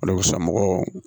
mɔgɔw